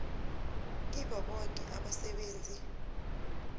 kibo boke abasebenzi